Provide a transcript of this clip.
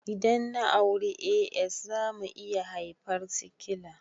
Idan na auri AS zamu iya haifar sikila